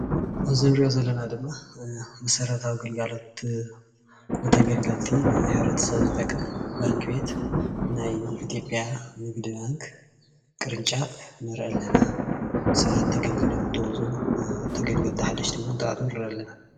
ኣብዚ እንርእዮ ዘለና ድማ መሰረታዊ ግልጋሎት ንተገልገልቲ ንሕብረተሰብ ዝጠቅም ባንኪ ቤት ናይ ኢትዮጵያ ንግዲ ባንኪ ቅርንጫፍ ንሪኢ ኣለና ሰባት ተገልጊሎም እንትወፅኡ ተገልገልቲ ሓደሽቲ እውን እንትኣትዉ ንርኢ ኣለና።